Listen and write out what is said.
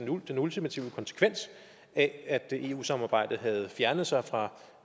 jo den ultimative konsekvens af at eu samarbejdet havde fjernet sig fra